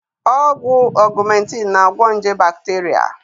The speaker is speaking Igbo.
Ọgwụ Augmentin na-agwo nje bakteria